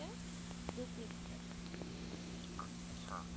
ছা